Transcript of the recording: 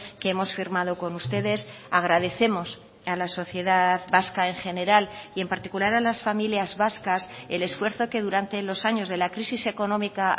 que hemos firmado con ustedes agradecemos a la sociedad vasca en general y en particular a las familias vascas el esfuerzo que durante los años de la crisis económica